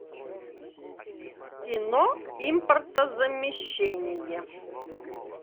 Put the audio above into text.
кино импортозамещение